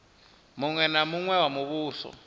muṅwe na muṅwe wa muvhuso